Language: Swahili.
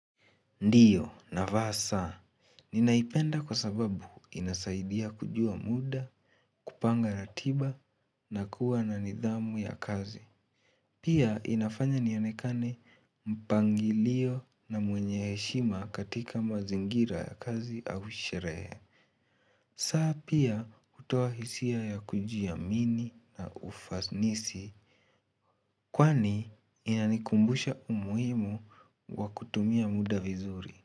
Ndiyo navaa saa Ninaipenda kwa sababu inasaidia kujua muda, kupanga ratiba na kuwa na nidhamu ya kazi Pia inafanya nionekane mpangilio na mwenye heshima katika mazingira ya kazi au sherehe saa pia hutoa hisia ya kujiamini na ufanisi Kwani inanikumbusha umuhimu wa kutumia muda vizuri.